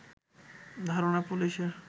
ধারণা পুলিশের